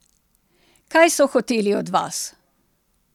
Kaj so hoteli od vas?